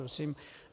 Prosím.